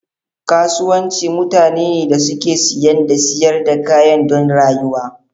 Kasuwanci mutane ne da suke siyan da siyar da kaya don rayuwa.